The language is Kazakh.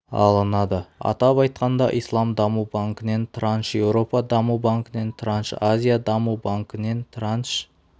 алынады атап айтқанда ислам даму банкінен транш еуропа даму банкінен транш азия даму банкінен транш